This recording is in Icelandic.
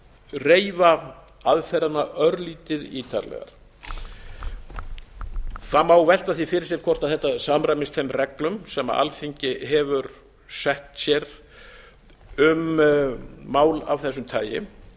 reifa aðferðina örlítið ítarlegar það má velta því fyrir sér hvort þetta samræmist þeim reglum sem alþingi hefur sett sér um mál af þessu tagi